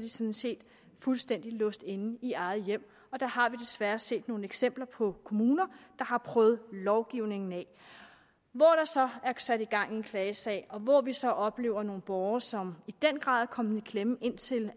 de sådan set fuldstændig låst inde i eget hjem der har vi desværre set nogle eksempler på kommuner der har prøvet lovgivningen af hvor der så er sat gang i en klagesag og hvor vi så har oplevet nogle borgere som i den grad er kommet i klemme indtil